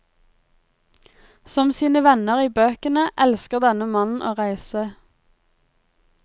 Som sine venner i bøkene, elsker denne mannen å reise.